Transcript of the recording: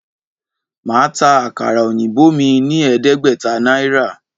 Màá ta àkàrà òyìnbó mí ní ẹ̀ẹ́dẹ́gbẹ̀ta Náírà